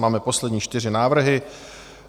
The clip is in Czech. Máme poslední čtyři návrhy.